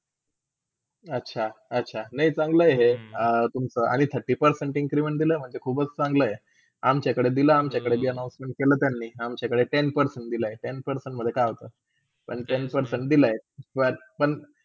अच्छा - अच्छा! नाय चांगले हे. अ आणि तुमचा thirty percent increment आणि दिला महण्जे खूपच चंगला अमच्याकडे दिला अमच्याकडे घेणा केला त्यांनी अमच्याकडे ten percent दिला ten percent म्हण्जे काय होते पण ten percent दिला